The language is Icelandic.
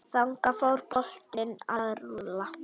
Þannig fór boltinn að rúlla.